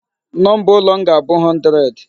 Number ụlọ m ga-abụ 100.